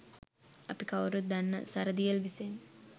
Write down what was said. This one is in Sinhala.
අපි කවුරුත් දන්න සරදියෙල් විසින්